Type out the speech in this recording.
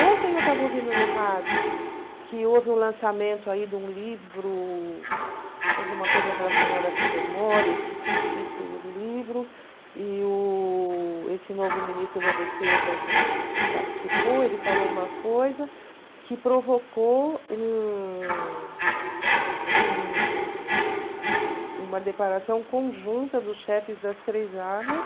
Ontem eu estava ouvindo no rádio que houve o lançamento de um livro, alguma coisa relacionada com memória, eu esqueci o título do livro, e o esse novo ministro da Defesa participou, ele falou uma coisa que provocou um um uma declaração conjunta dos chefes das três armas,